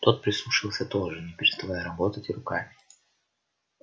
тот прислушался тоже не переставая работать руками